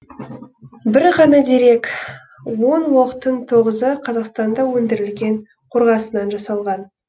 бір ғана дерек он оқтың тоғызы қазақстанда өндірілген қорғасыннан жасалған